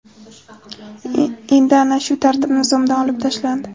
Endi ana shu tartib Nizomdan olib tashlandi.